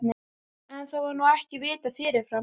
En, það var nú ekki vitað fyrirfram!